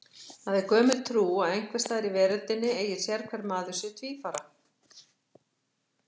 Það er gömul trú að einhvers staðar í veröldinni eigi sérhver maður sér tvífara.